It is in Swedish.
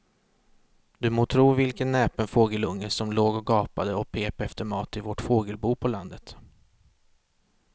Du må tro vilken näpen fågelunge som låg och gapade och pep efter mat i vårt fågelbo på landet.